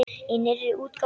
Í nýrri útgáfu!